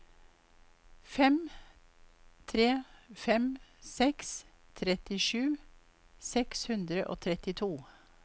fem tre fem seks trettisju seks hundre og trettito